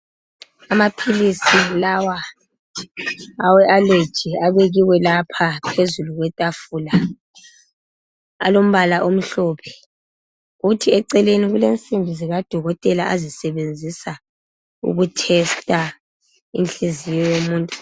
amaphilisi lawa awe allergy abekiwe lapha phezulu kwetafula alombala kuthi eceleni kunsimbi zikadokotela azisebenzisa uku tester inhliziyo yomuntu